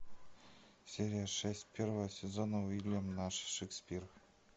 серия шесть первого сезона уильям наш шекспир